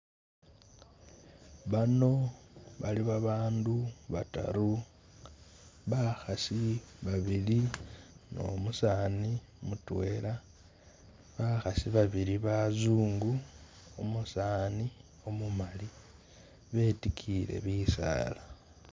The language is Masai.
Bano bali babandu bataru, bakhasi babili numusani mutwela, bakhasi babili bazungu umusani umumali betikiyile bisala